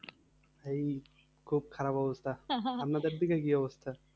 এই খুব খারাপ অবস্থা। আপনাদের দিকে কি অবস্থা?